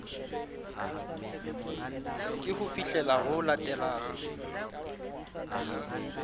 ke ho fihlela ho latelang